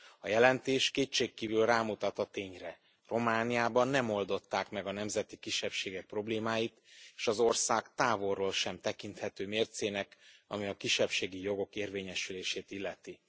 A jelentés kétségkívül rámutat a tényre Romániában nem oldották meg a nemzeti kisebbségek problémáit és az ország távolról sem tekinthető mércének, ami a kisebbségi jogok érvényesülését illeti.